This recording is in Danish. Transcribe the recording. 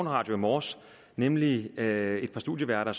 radio i morges nemlig da et par studieværter